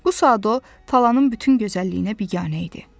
Bu saat o, talanın bütün gözəlliyinə biganə idi.